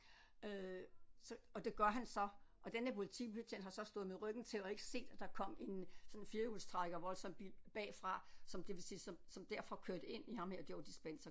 Øh så og det gør han så og den her politibetjent har så stået med ryggen til og ikke set at der kom en sådan en firhjulstrækker voldsom bil bagfra som det vil sige som som derfor kørte ind i ham her Joe Dispenza